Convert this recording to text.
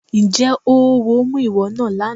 Ǹjẹ́ oówo mú ìwọ náà lánàá?